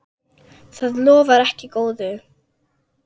Það lofar ekki góðu.